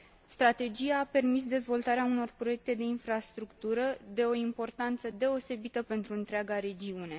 Strategia a permis dezvoltarea unor proiecte de infrastructură de o importanță deosebită pentru întreaga regiune.